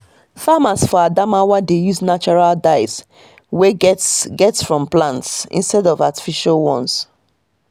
farmers for adamawa dey use natural dyes wey get get from plant instead of artificial ones